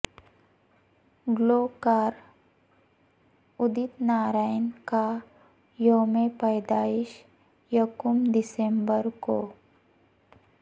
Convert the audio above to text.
گلوکار ادت نارائن کا یوم پیدائش یکم دسمبر کو